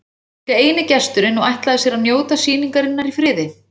Hún var líka eini gesturinn og ætlaði sér að njóta sýningarinnar í friði.